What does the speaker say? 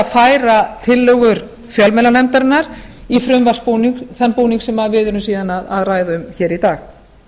færa tillögur fjölmiðlanefndarinnar í þann búning sem við erum síðan að ræða hér um hér í dag